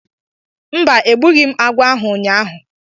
Mba, egbughị m agwọ ahu ụnyahụ